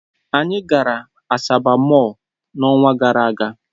Anyị gara Asaba Mọll n'ọnwa gara aga.